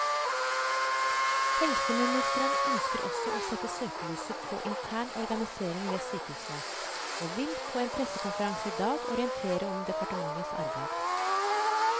Helseministeren ønsker også å sette søkelyset på intern organisering ved sykehusene, og vil på en pressekonferanse i dag orientere om departementets arbeid.